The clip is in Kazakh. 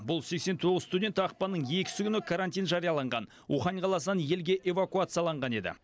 бұл сексен тоғыз студент ақпанның екісі күні карантин жарияланған ухань қаласынан елге эвакуацияланған еді